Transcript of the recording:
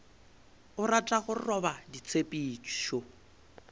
o rata go roba ditshepišo